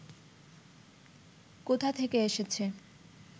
কোথা থেকে এসেছে